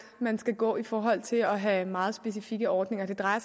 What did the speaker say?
man skal gå i forhold til at have meget specifikke ordninger det drejer